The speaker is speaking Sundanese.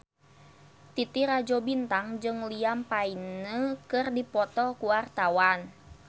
Titi Rajo Bintang jeung Liam Payne keur dipoto ku wartawan